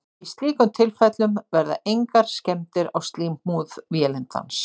Í slíkum tilfellum verða engar skemmdir á slímhúð vélindans.